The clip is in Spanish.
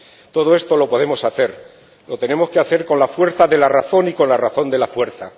Todo esto lo podemos hacer, lo tenemos que hacer con la fuerza de la razón y con la razón de la fuerza.